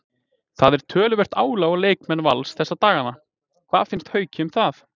Það er töluvert álag á leikmenn Vals þessa dagana, hvað finnst Hauki um það?